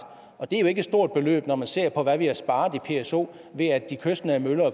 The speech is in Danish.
og det er jo ikke et stort beløb når man ser på hvad vi har sparet i pso ved at de kystnære møller og